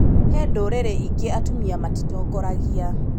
He ndũrĩrĩ ingĩ atumia matitongorangia.